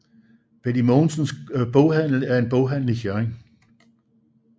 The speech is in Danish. Betty Mogensens Boghandel er en boghandel i Hjørring